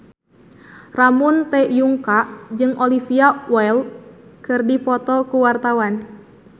Ramon T. Yungka jeung Olivia Wilde keur dipoto ku wartawan